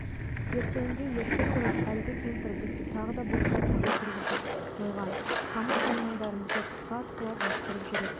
ертеңінде ерте тұрып әлгі кемпір бізді тағы да боқтап үйге кіргізіп қойған қамыт-саймандарымызды тысқа атқылап лақтырып жүр екен